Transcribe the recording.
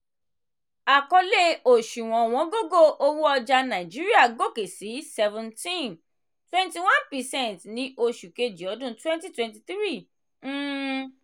àkọlé òṣùwò̀n ọ̀wọ́ngógó owó ọjà nàìjíríà gòkè sí 17.21 percent ní oṣù kejì ọdun 2023. um